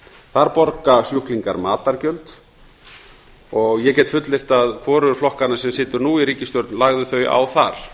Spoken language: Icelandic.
þar borga sjúklingar matargjöld og ég get fullyrt að hvorugur flokkanna sem situr nú í ríkisstjórn lagði þau á þar